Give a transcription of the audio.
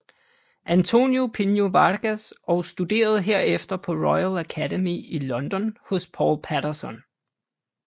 António Pinho Vargas og studerede herefter på Royal Academy i London hos Paul Patterson